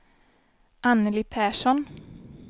Annelie Persson